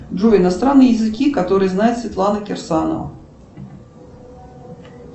джой иностранные языки которые знает светлана кирсанова